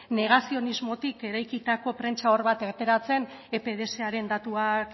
negazionismotik eraikitako prentsa hor bat ateratzen epdsaren datuak